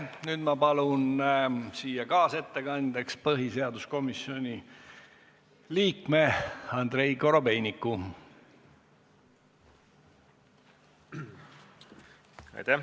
Nüüd ma palun siia kaasettekandjaks põhiseaduskomisjoni liikme Andrei Korobeiniku.